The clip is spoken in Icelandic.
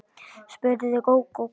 spurði Gógó kát.